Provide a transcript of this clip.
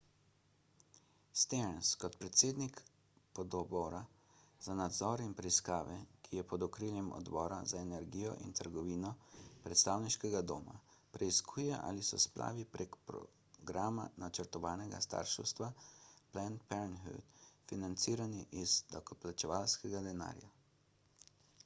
stearns kot predsednik pododbora za nadzor in preiskave ki je pod okriljem odbora za energijo in trgovino predstavniškega doma preiskuje ali so splavi prek programa načrtovanega starševstva »planned parenthood« financirani iz davkoplačevalskega denarja